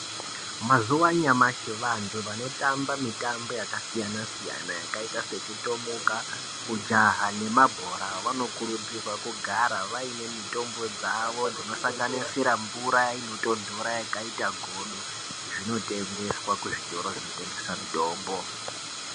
Mazuwa anyamashi, vantu vanotamba mitambo yakasiyana siyana yakaita sekutomuka, kujaha nemabhora vanokuridzirwa kugara vaine mitombo dzawo dzinosanganisira mvura inotontora yakaita godo, zvinotengeswa kuzvitoro zvinotengesa mitombo.